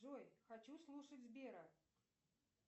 джой хочу слушать сбера